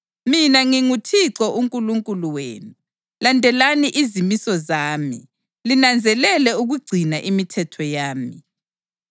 Mina nginguThixo uNkulunkulu wenu; landelani izimiso zami linanzelele ukugcina imithetho yami.